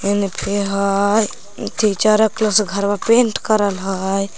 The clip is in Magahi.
एने पेड़ हय फिर चरक कलर से घरवा पेंट करल हय।